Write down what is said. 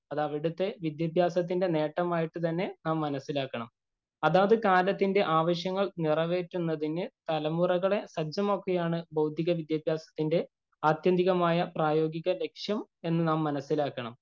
അത് അവിടത്തെ വിദ്യാഭ്യാസത്തിന്‍റെ നേട്ടമായി തന്നെ നാം മനസിലാക്കണം. അതാത് കാലത്തിന്‍റെ ആവശ്യങ്ങള്‍ നിറവേറ്റുന്നതിനു തലമുറകളെ സജ്ജമാക്കുകയാണ് ബൗദ്ധിക വിദ്യാഭ്യാസത്തിന്‍റെ ആത്യന്തികമായ പ്രായോഗിക ലക്‌ഷ്യം എന്ന് നാം മനസിലാക്കണം.